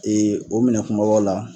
Ee o minɛn kumabaw la